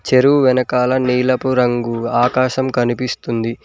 చెరువు వెనకాల నీలపు రంగు ఆకాశం కనిపిస్తుంది.